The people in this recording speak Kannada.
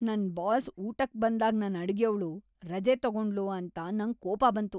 ನನ್ ಬಾಸ್ ಊಟಕ್ ಬಂದಾಗ್ ನನ್ ಅಡುಗೆಯವ್ಳು ರಜೆ ತಗೊಂಡ್ಳು ಅಂತ ನಂಗ್ ಕೋಪ ಬಂತು.